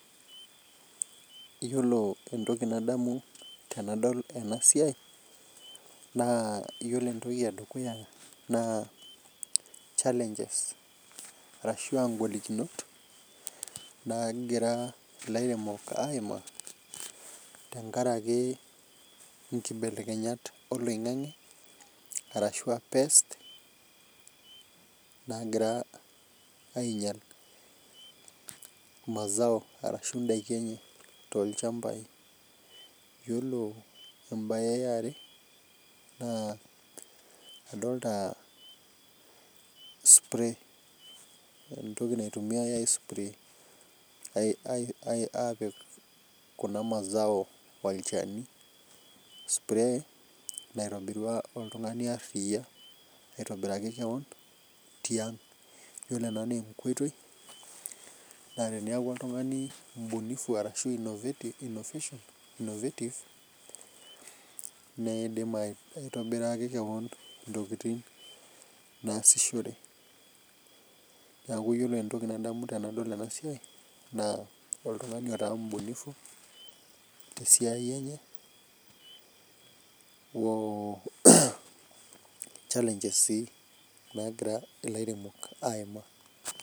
Yiolo entoki nadamu tenadol ena siai naa yiolo entoki edukuya naa, challenges ashua ngolikinot naagira ilairemok aimaa tenkaraki nkibelenyat oloingange ashua pest naagira ainyala mazao ashu ndaiki enye toolchampai .Yiolo embae eare naa adolita spray entoki naitumiyiai aapik kuna mazao olchani. spray naitobirua oltungani aria aitobiraki keon ,yiolo ena naa enkoitoi naa teneeku oltungani mbunifu ashu innovative, neidim aitobiraki keon ntakiting naasishore. Neeku yiolo entoki nadamu tenadol ena siai naa oltungani otaa mbunifu tesiai enye ochalanges sii nagira ilairemok aimaa.